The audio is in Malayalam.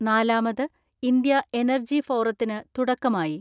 നാലാമത് ഇന്ത്യ എനർജി ഫോറത്തിന് തുടക്കമായി.